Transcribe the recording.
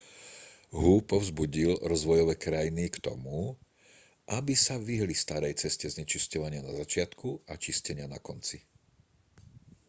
hu povzbudil rozvojové krajiny k tomu aby sa vyhli starej ceste znečisťovania na začiatku a čistenia na konci